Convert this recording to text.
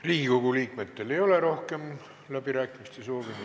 Riigikogu liikmetel rohkem läbirääkimiste soovi ei ole.